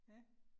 Ja